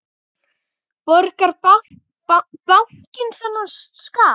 Borga bankar þennan skatt?